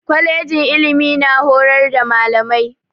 Kwalejin ilimi na horar da malamai.